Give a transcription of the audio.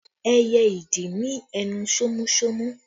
Ẹyẹ ìdì ní ẹnu sómúsómú